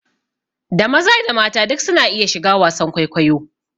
Da maza da mata duk su na iya shiga wasan kwaikwayo